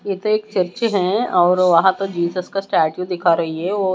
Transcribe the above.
ये तो एक चर्च है और वहां पर जीजस का स्टेचू दिखा रही है वो--